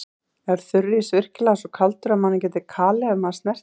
Er þurrís virkilega svo kaldur að mann getur kalið ef maður snertir hann?